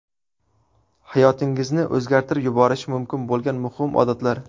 Hayotingizni o‘zgartirib yuborishi mumkin bo‘lgan muhim odatlar.